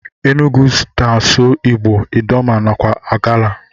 Enugu na asụ igbo, idoma nakwa agala.